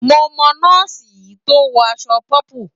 Mo mọ̀ nọ́ọ̀sì yìí tó ń wọ aṣọ pọ́pù.